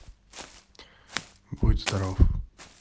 будь здоров